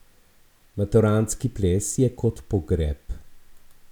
Maturantski ples je kot pogreb.